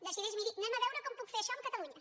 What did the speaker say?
decideix miri anem a veure com puc fer això amb catalunya